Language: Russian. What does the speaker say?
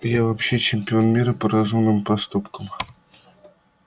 я вообще чемпион мира по разумным поступкам